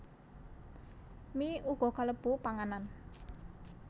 Mie uga kalebu panganan